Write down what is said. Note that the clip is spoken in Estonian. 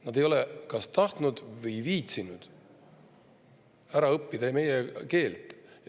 Nad ei ole kas tahtnud või viitsinud ära õppida meie keelt.